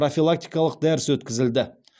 профилактикалық дәріс өткізілді